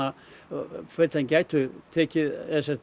að fyrirtækin gætu tekið